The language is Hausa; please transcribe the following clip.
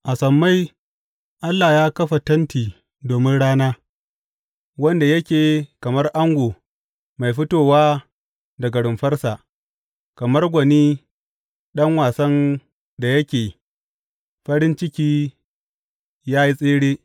A sammai Allah ya kafa tenti domin rana, wanda yake kamar ango mai fitowa daga rumfarsa, kamar gwani ɗan wasan da yake farin ciki yă yi tsere.